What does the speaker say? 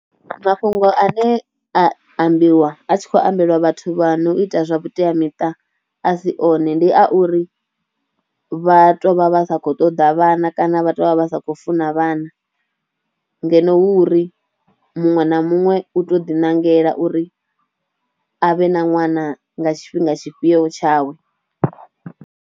Mafhungo ane a ambiwa a tshi khou ambelwa vhathu vha no ita zwa vhuteamita a si one, ndi a uri vha tou vha vha sa khou ṱoḓa vhana kana vha tou vha vha sa khou funa vhana ngeno hu uri muṅwe na muṅwe u tou ḓiṋangela uri a vhe na ṅwana nga tshifhinga tshifhio tshawe.